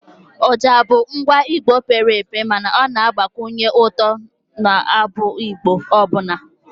oja bụ ngwa Igbo pere mpe mana ọ na-agbakwunye ụtọ n'abụ Igbo ọbụla